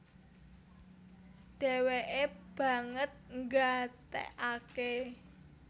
Dhèwèkè banget nggatèkaké